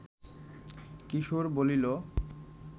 কিশোর বলিল